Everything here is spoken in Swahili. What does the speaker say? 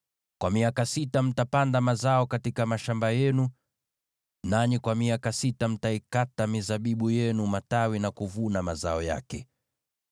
Kwa miaka sita mtapanda mazao katika mashamba yenu, nanyi kwa miaka sita mtaikata mizabibu yenu matawi na kuvuna mazao yake.